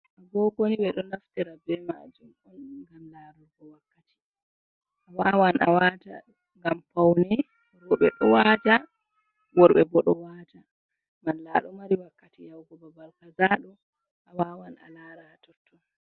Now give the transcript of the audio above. Agogo ni ɓe ɗo naftira be majum on ngam laarugo wakkati. A wawan a wata ngam paune, rowɓe ɗo waata, worɓe bo ɗo waata. Malla a ɗo mari wakkati yahugo babal kaza ɗo a wawan a lara haa totton.